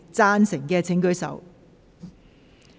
贊成的請舉手。